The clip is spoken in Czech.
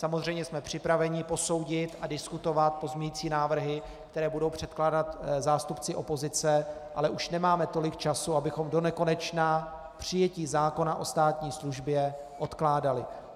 Samozřejmě jsme připraveni posoudit a diskutovat pozměňující návrhy, které budou předkládat zástupci opozice, ale už nemáme tolik času, abychom donekonečna přijetí zákona o státní službě odkládali.